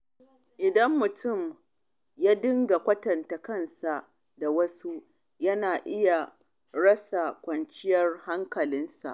Idan mutum ya dinga kwatanta kansa da wasu, yana iya rasa kwanciyar hankalinsa.